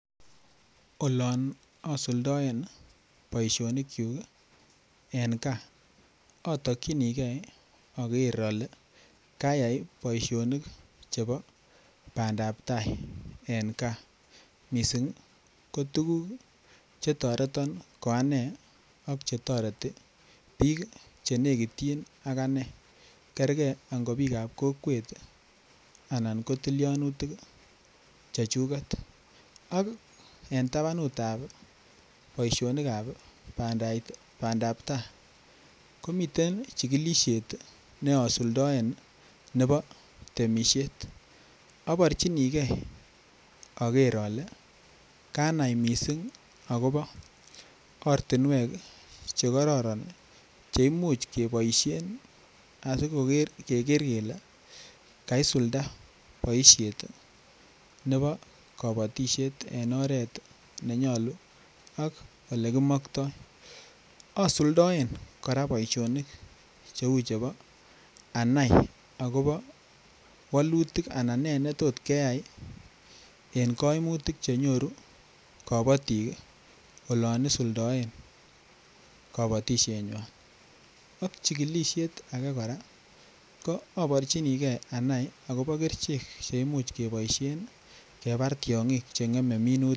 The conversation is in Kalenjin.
Olon asuldaen boisionikyuk en gaa atokyinige ager ale kayai boisionik Che bo bandap tai en gaa mising ko tuguk Che toreton koane ak Che toreti bik Che nekityin ak ane kergei ko bik ab kokwet anan ko tilyanutik chechuget ak en tabanutab boisionik ab bandap tai komiten chigilisiet ne asuldaen nebo temisiet aborchinigei ager ale kanai mising agobo ortinwek Che kororon Che Imuch keboisien asi keger kele kaisulda boisiet nebo kabatisiet en oret ne nyolu ak Ole kimoktoi asuldaen cheu chebo anai akobo wolutik anan ne tos keyai en kaimutik Che nyoru kabatik olon isuldoen kabatisienywan ak chigilisiet age kora aborchinigei anai agobo kerichek Che Imuch keboisien kebar tiongik Che ngemei minutik